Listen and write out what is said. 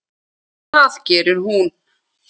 Það gerir hún.